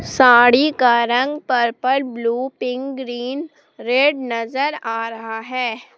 साड़ी का रंग purple blue pink green red नजर आ रहा है।